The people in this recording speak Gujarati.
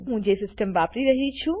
હું જે સીસ્ટમ વાપરી રહ્યી છું